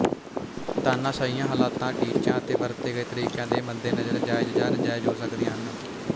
ਤਾਨਾਸ਼ਾਹੀਆਂ ਹਲਾਤਾਂ ਟੀਚਿਆਂ ਅਤੇ ਵਰਤੇ ਗਏ ਤਰੀਕਿਆਂ ਦੇ ਮੱਦੇਨਜ਼ਰ ਜਾਇਜ਼ ਜਾਂ ਨਾਜਾਇਜ਼ ਹੋ ਸਕਦੀਆਂ ਹਨ